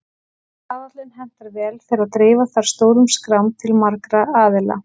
Staðallinn hentar vel þegar dreifa þarf stórum skrám til margra aðila.